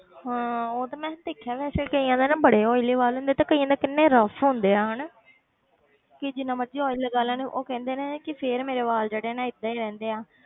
ਹਾਂ ਉਹ ਤਾਂ ਮੈਂ ਦੇਖਿਆ ਵੈਸੇ ਕਈਆਂ ਦਾ ਨਾ ਬੜੇ oily ਵਾਲ ਹੁੰਦੇ ਤੇ ਕਈਆਂ ਦੇ ਕਿੰਨੇ rough ਹੁੰਦੇ ਆ ਹਨਾ ਕਿ ਜਿੰਨਾ ਮਰਜ਼ੀ oil ਲਗਾ ਲੈਣ ਉਹ ਕਹਿੰਦੇ ਨੇ ਕਿ ਫਿਰ ਮੇਰੇ ਵਾਲ ਜਿਹੜੇ ਆ ਨਾ ਏਦਾਂ ਹੀ ਰਹਿੰਦੇ ਆ,